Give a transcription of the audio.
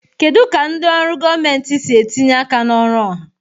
Kedu ka ndị ọrụ gọọmentị si etinye aka na ọrụ ọha?